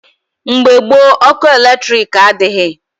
Mgbe gboo, ọkụ eletrik adịghị.